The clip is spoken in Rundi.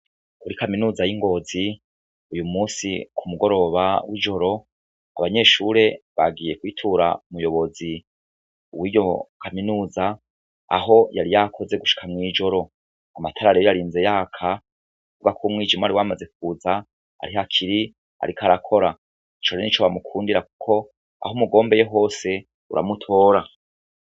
Kuri kaminuza y'ingozi uyu musi ku mugoroba w'ijoro abanyeshure bagiye kwitura umuyobozi uwoiyo kaminuza aho yari yakoze gushika mw'ijoro ngo amatarare eyo ari nze yaka kubwa k umwijimu ari wamaze kuza ari hakiri, ariko arakora icore n'ico mukundira, kuko aho umugombeye hose uramutora.